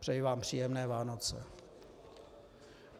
Přeji vám příjemné Vánoce.